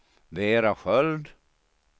Vera Sköld